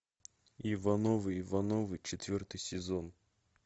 ивановы ивановы четвертый сезон